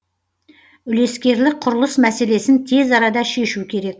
үлескерлік құрылыс мәселесін тез арада шешу керек